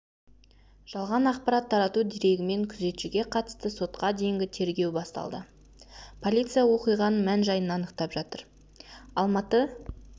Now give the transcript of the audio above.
жалған ақпарат тарату дерегімен күзетшіге қатысты сотқа дейінгі тергеу басталды полиция оқиғаның мән-жайын анықтап жатыр алматы